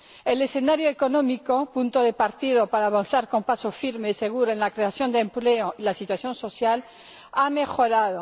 El escenario económico ―punto de partida para avanzar con paso firme y seguro en la creación de empleo―, la situación social, han mejorado.